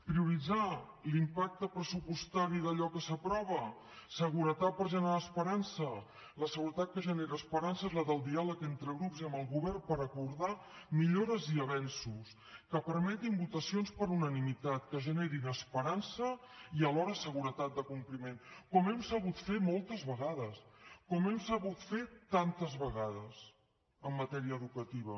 prioritzar l’impacte pressupostari d’allò que s’aprova seguretat per generar esperança la seguretat que genera esperança és la del diàleg entre grups i amb el govern per acordar millores i avenços que permetin votacions per unanimitat que generin esperança i alhora seguretat de compliment com hem sabut fer moltes vegades com hem sabut fer tantes vegades en matèria educativa